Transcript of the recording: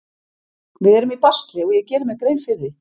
Við erum í basli og ég geri mér grein fyrir því.